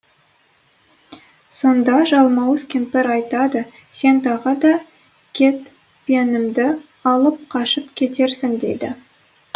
сонда жалмауыз кемпір айтады сен тағы да кетпенімді алып қашып кетерсің дейді